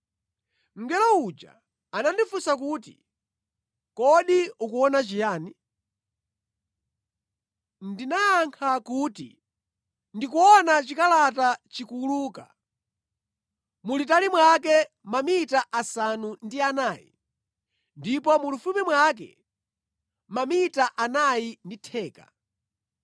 Mngelo uja anandifunsa kuti, “Kodi ukuona chiyani?” Ndinayankha kuti, “Ndikuona chikalata chikuwuluka, mulitali mwake mamita asanu ndi anayi ndipo mulifupi mwake mamita anayi ndi theka.”